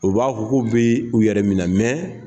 U b'a fɔ k'u bɛ u yɛrɛ minɛ, mɛ